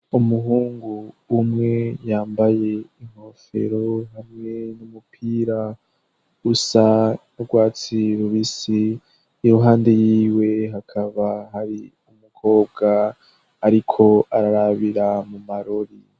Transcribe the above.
Umuhungu umwe yambaye inkofero hamwe n'umupira usa n'urwatsi rubisi , iruhande yiwe hakaba hari umukobwa ariko ararabira mu marori.